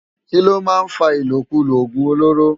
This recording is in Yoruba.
Kiló má n fá ilókúló ogún ólóró?